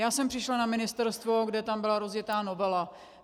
Já jsem přišla na ministerstvo, kde tam byla rozjetá novela.